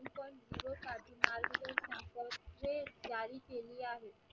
जारी केली आहे.